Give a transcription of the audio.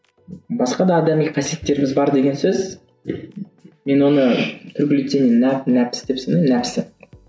басқа да адами қасиеттеріміз бар деген сөз мен оны деп санаймын нәпсі